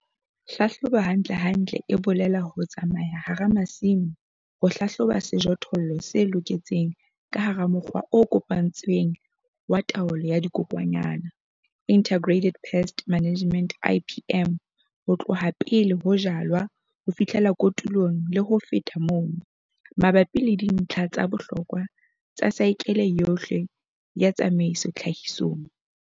HLAHLOBO HANTLENTLE E BOLELA HO TSAMAYA HARA MASIMO HO HLAHLOBA SEJOTHOLLO SE LOKETSENG KA HARA MOKGWA O KOPANETSWENG WA TAOLO YA DIKOKWANYANA, INTEGRATED PEST MANAGEMENT - IPM, HO TLOHA PELE HO JALWA HO FIHLELA KOTULONG LE HO FETA MONO MABAPI LE DINTLHA TSA BOHLOKWA TSA SAEKELE YOHLE YA TSAMAISO TLHAHISONG.